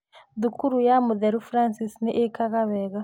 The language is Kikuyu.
Thukuru ya mũtheru Francis nĩ ĩkaga wega.